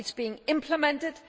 It is being implemented.